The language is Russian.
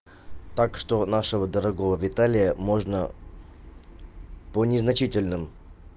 так что нашего дорогого виталия можно по незначительным